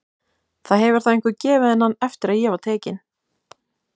Það hefur þá einhver gefið henni hann eftir að ég var tekin.